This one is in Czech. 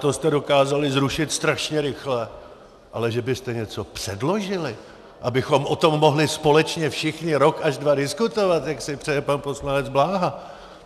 To jste dokázali zrušit strašně rychle, ale že byste něco předložili, abychom o tom mohli společně všichni rok až dva diskutovat, jak si přeje pan poslanec Bláha?